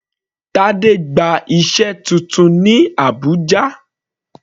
Tade gba iṣẹ́ titun ní Abùjá.